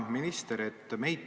Hea minister!